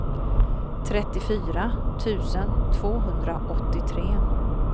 trettiofyra tusen tvåhundraåttiotre